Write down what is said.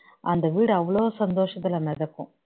அந்த வீடு அவ்வளவு சந்தோசத்துல மிதக்கும்